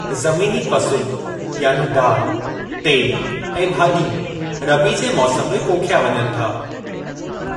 ज़मीनी फ़सुल, यानी दालि, तेल ऐं भाॼियूं, रबी जे मौसमु में पोखिया वञनि था।